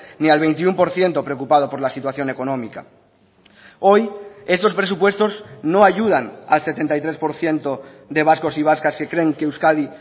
ni al veintiuno por ciento preocupado por la situación económica hoy estos presupuestos no ayudan al setenta y tres por ciento de vascos y vascas que creen que euskadi